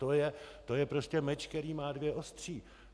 To je prostě meč, který má dvě ostří.